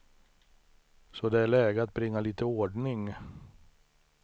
Så det är läge att bringa lite ordning.